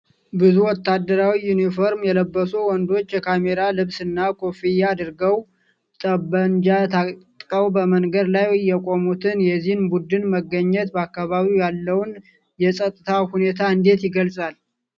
ብዙ ወታደራዊ ዩኒፎርም የለበሱ ወንዶች፣ የካሜራ ልብስና ኮፍያ አድርገው፣ ጠብመንጃ ታጥቀው በመንገድ ላይ የቆሙት፣ የዚህ ቡድን መገኘት በአካባቢው ያለውን የፀጥታ ሁኔታ እንዴት ይገልጻል?